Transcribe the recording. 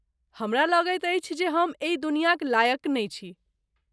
हमरा लगैत अछि जे हम एहि दुनियाक लायक नहि छी।